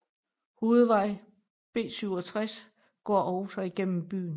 Hovedvej B67 går også gennem byen